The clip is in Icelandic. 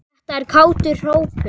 Þetta er kátur hópur.